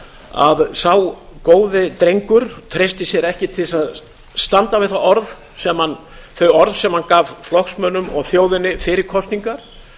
að sá góði drengur treysti sér ekki til að standa við þau orð sem hann gaf flokksmönnum og þjóðinni fyrir kosningar